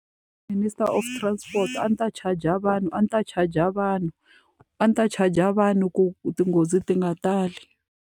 Minister of Transport a ndzi ta charge-a vanhu a ndzi ta charge-a vanhu, a ndzi ta charge-a vanhu ku tinghozi ti nga tali.